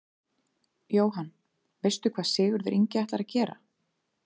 Jóhann: Veistu hvað Sigurður Ingi ætlar að gera?